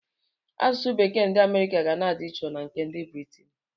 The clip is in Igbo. Asụsụ bekee nke ndị Amerịka ga na-adị iche na nke ndị Britin.